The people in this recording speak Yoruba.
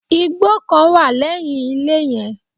Igbó kan wà lẹ́yìn ilé yen